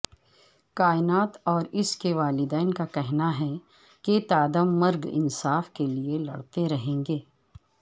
کائنات اور اسکے والدین کا کہنا ہے کہ تادم مرگ انصاف کیلئے لڑتے رہیں گے